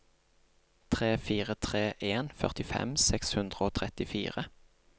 tre fire tre en førtifem seks hundre og trettifire